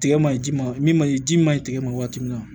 Tigɛ ma ɲi ji ma min ma ɲi ji ma ɲi tigɛ ma waati min na